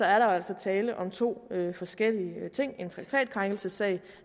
er der jo altså tale om to forskellige ting en traktatkrænkelsessag